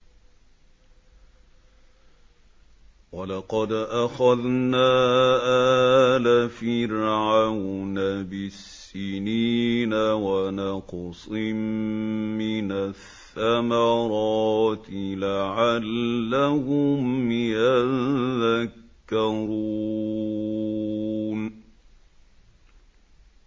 وَلَقَدْ أَخَذْنَا آلَ فِرْعَوْنَ بِالسِّنِينَ وَنَقْصٍ مِّنَ الثَّمَرَاتِ لَعَلَّهُمْ يَذَّكَّرُونَ